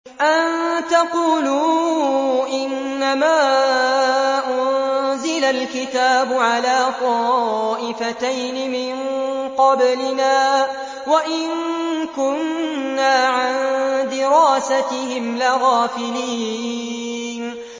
أَن تَقُولُوا إِنَّمَا أُنزِلَ الْكِتَابُ عَلَىٰ طَائِفَتَيْنِ مِن قَبْلِنَا وَإِن كُنَّا عَن دِرَاسَتِهِمْ لَغَافِلِينَ